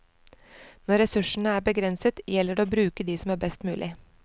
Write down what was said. Når ressursene er begrenset, gjelder det å bruke de som er best mulig.